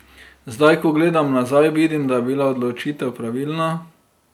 Zdaj, ko gledam nazaj, vidim, da je bila odločitev pravilna.